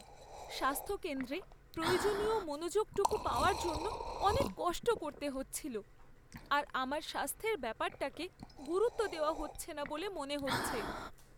স্বাস্থ্যকেন্দ্রে প্রয়োজনীয় মনোযোগটুকু পাওয়ার জন্য অনেক কষ্ট করতে হচ্ছিল, আর আমার স্বাস্থ্যের ব্যাপারটাকে গুরুত্ব দেওয়া হচ্ছে না বলে মনে হচ্ছে।